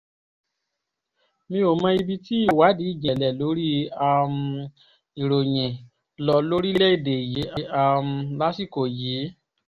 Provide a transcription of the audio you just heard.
mi ò mọ ibi tí ìwádìí ìjìnlẹ̀ lórí um ìròyìn lọ lórílẹ̀‐èdè yìí um lásìkò yìí